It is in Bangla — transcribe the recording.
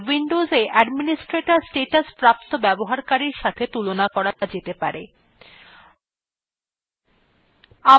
মূল ব্যবহারকারীকে windows administrator statusপ্রাপ্ত ব্যবহারকারীর সাথে তুলনা করা যেতে পারে